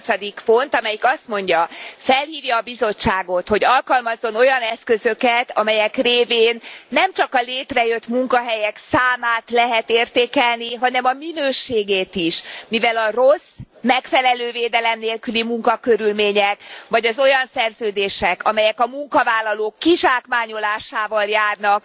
18. pont, amelyik azt mondja felhívja a Bizottságot, hogy alkalmazzon olyan eszközöket, amelyek révén nem csak a létrejött munkahelyek számát lehet értékelni, hanem a minőségét is, mivel a rossz, megfelelő védelem nélküli munkakörülmények vagy az olyan szerződések, amelyek a munkavállalók kizsákmányolásával járnak,